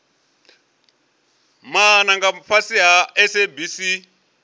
maana nga fhasi ha sabc